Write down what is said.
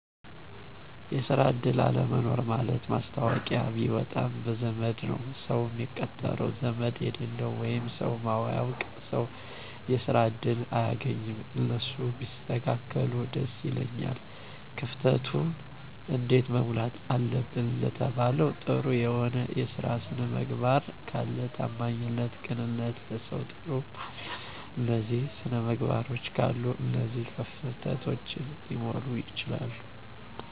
የስራ እድል አለመኖር ማለት ማስታወቂያ ቢወጣም በዘመድ ነዉ ሰዉ ሚቀጠረዉ ዘመድ የሌለዉ ወይም ሰዉ ማያዉቅ ሰዉ የስራ እድል አያገኝም እነሱ ቢስተካከሉ ደስ ይለኛል። ክፍተቱን እንዴት መሙላት አለብን ለተባለዉ ጥሩ የሆነ የስራ ስነምግባር ካለ ታማኝነት ቅንነት ለሰዉ ጥሩ ማሰብ እነዚህ ስነምግባሮች ካሉ እነዚህ ክፍተቶች ሊሞሉ ይችላሉ